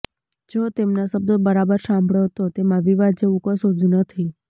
જો તેમનાં શબ્દો બરાબર સાંભળો તો તેમાં વિવાદ જેવું કંશુ જ નથી